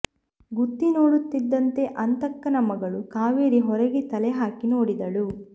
ಗುತ್ತಿ ನೋಡುತ್ತಿದ್ದಂತೆ ಅಂತಕ್ಕನ ಮಗಳು ಕಾವೇರಿ ಹೊರಗೆ ತಲೆ ಹಾಕಿ ನೋಡಿದಳು